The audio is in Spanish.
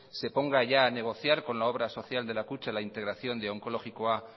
se ponga ya a negociar con la obra social de la kutxa la integración de onkologikoa